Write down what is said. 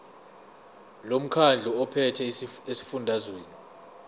lomkhandlu ophethe esifundazweni